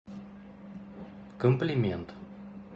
комплимент